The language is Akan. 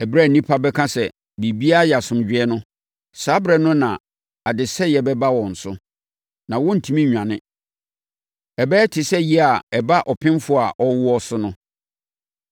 Ɛberɛ a nnipa bɛka sɛ, “biribiara yɛ asomdwoeɛ” no, saa ɛberɛ no na adesɛeɛ bɛba wɔn so. Na wɔrentumi nnwane. Ɛbɛyɛ te sɛ yea a ɛba ɔpemfoɔ a ɔrewoɔ so no.